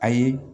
A ye